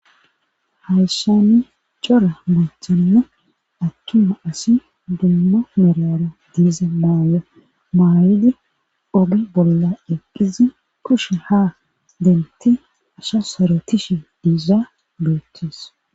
hayssani cora machanna attuma asi dumma merara diiza maaya maayidi oge bolla eqqizi kushe ha denti asha soro tishe diiza goetes